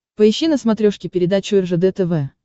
поищи на смотрешке передачу ржд тв